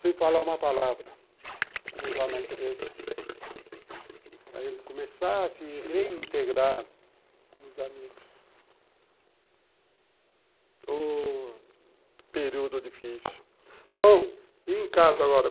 sem falar uma palavra vamos lá na empresa para ele começar a se reintegrar com os amigos o período difícil bom, e em casa agora?